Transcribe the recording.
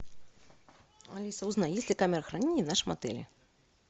алиса узнай есть ли камера хранения в нашем отеле